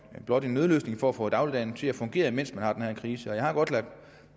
blot en nødløsning for at få dagligdagen til at fungere mens vi har den her krise jeg har godt lagt